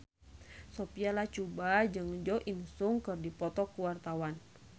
Sophia Latjuba jeung Jo In Sung keur dipoto ku wartawan